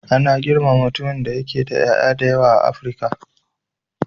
Ana girmama mutumin da yake da ƴaƴa da yawa a Afrika.